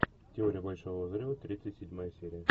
теория большого взрыва тридцать седьмая серия